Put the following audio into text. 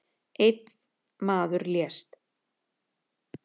Einn maður lést